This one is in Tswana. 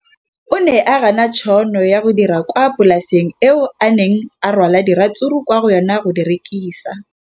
O ne a gana tšhono ya go dira kwa polaseng eo a neng rwala diratsuru kwa go yona go di rekisa.